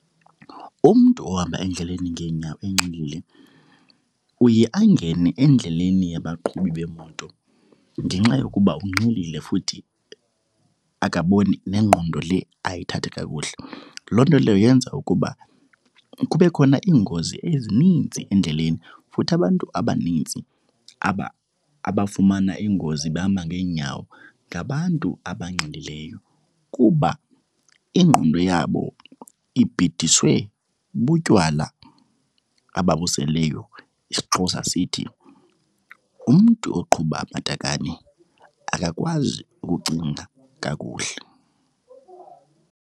Umntu ohamba endleleni ngeenyawo enxilile uye angene endleleni yabaqhubi beemoto ngenxa yokuba unxilile futhi akaboni, nengqondo le ayithathi kakuhle. Loo nto leyo yenza ukuba kube khona iingozi ezininzi endleleni. Futhi abantu abanintsi abafumana iingozi behamba ngeenyawo ngabantu abanxilileyo kuba ingqondo yabo ibhidiswe butywala ababuseleyo. IsiXhosa sithi, umntu oqhuba amatakane akakwazi ukucinga kakuhle.